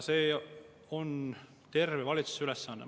See on terve valitsuse ülesanne.